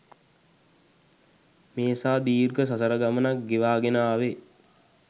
මේ සා දීර්ඝ සසර ගමනක් ගෙවාගෙන ආවෙ.